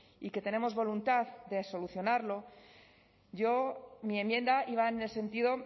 y que tenemos voluntad de solucionarlo yo mi enmienda iba en el sentido